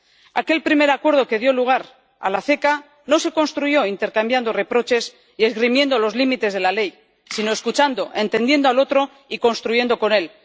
Aquel primer acuerdo, que dio lugar a la CECA, no se construyó intercambiando reproches y esgrimiendo los límites de la ley, sino escuchando, entendiendo al otro y construyendo con él.